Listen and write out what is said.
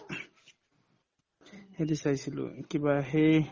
হেৰি চাইছিলো কিবা সেই